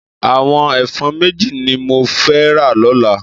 Àwòn èfòn méji ni mó fè rá lòlá